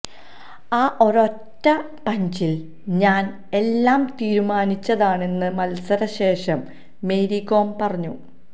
ആ ഒരൊറ്റ പഞ്ചില് ഞാന് എല്ലാം തീരുമാനിച്ചതാണെന്ന് മത്സര ശേഷം മേരി കോം പറഞ്ഞു